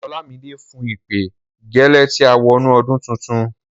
Olamide blew the trumpet immediately we entered into the new year.